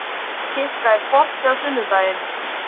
Kikka, er bolti á sunnudaginn?